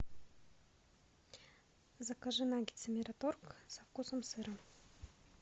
закажи наггетсы мираторг со вкусом сыра